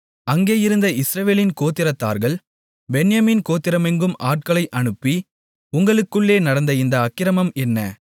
அங்கே இருந்த இஸ்ரவேலின் கோத்திரத்தார்கள் பென்யமீன் கோத்திரமெங்கும் ஆட்களை அனுப்பி உங்களுக்குள்ளே நடந்த இந்த அக்கிரமம் என்ன